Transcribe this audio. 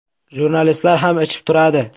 Jurnalistlar ham ichib turadi.